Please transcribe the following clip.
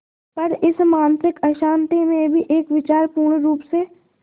पर इस मानसिक अशांति में भी एक विचार पूर्णरुप से